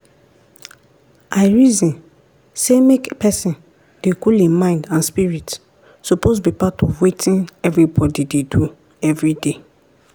i reason say make pesin dey cool hin mind and spirit suppose be part of wetin everybody dey do everyday.